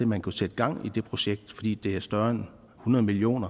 man kunne sætte gang i det projekt fordi det er større end hundrede million